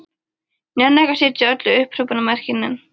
Ég nenni ekki að setja öll upphrópunarmerkin inn.